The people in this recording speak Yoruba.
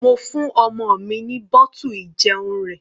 Mo fún ọmọ mi ní bottle ìjẹun rẹ̀.